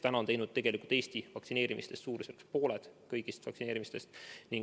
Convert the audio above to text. Haiglad on teinud Eestis umbes pooled kõigist vaktsineerimistest.